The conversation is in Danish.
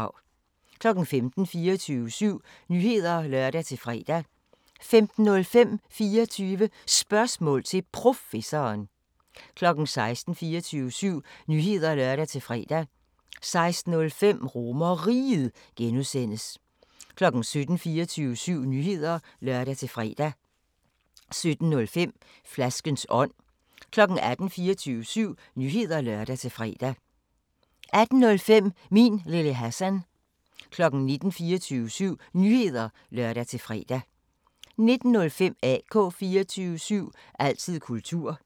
15:00: 24syv Nyheder (lør-fre) 15:05: 24 Spørgsmål til Professoren 16:00: 24syv Nyheder (lør-fre) 16:05: RomerRiget (G) 17:00: 24syv Nyheder (lør-fre) 17:05: Flaskens ånd 18:00: 24syv Nyheder (lør-fre) 18:05: Min Lille Hassan 19:00: 24syv Nyheder (lør-fre) 19:05: AK 24syv – altid kultur